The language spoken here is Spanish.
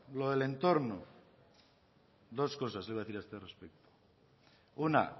lo del entorno dos cosas le voy a decir a este respecto una